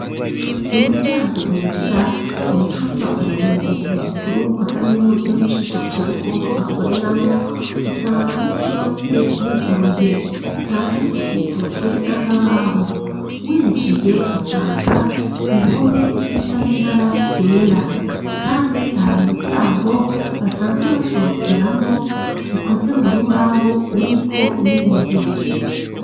Umuryango winjira mu cumba umurongozi mukuru wa kaminuza yo mu Cibitoke ca Rugombo akoreramwo, usanga minsi yose wuguruye kandi ukikujwe n'akabaho. Winjiye usanga impome z'isa nibara ryera, kandi har'umuryango basanzwe basohokeramwo ukoze mu rubaho uriko n'ibiyo.